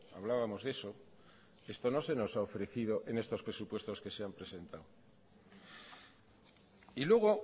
hablábamos de eso esto no se nos ha ofrecido en los presupuestos que se nos han presentado y luego